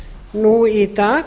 nú í dag